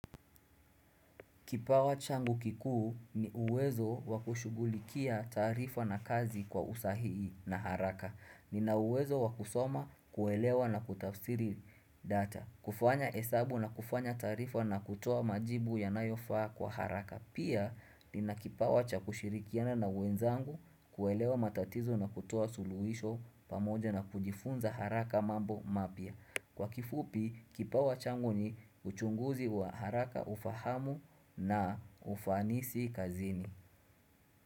Kipawa changu kikuu ni uwezo wakushugulikia tarifa na kazi kwa usahii na haraka. Nina uwezo wakusoma kuelewa na kutafsiri data. Kufanya hesabu na kufanya taarifa na kutoa majibu ya nayofaa kwa haraka. Pia, nina kipawa cha kushirikiana na wenzangu kuelewa matatizo na kutoa suluhisho pamoja na kujifunza haraka mambo mapya. Kwa kifupi, kipawa changuni, uchunguzi wa haraka ufahamu na ufanisi kazini.